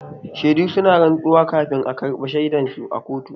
Shedu suna rantsuwa kafin a karɓa shaidan su a kotu.